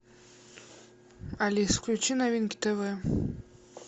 алис включи новинки тв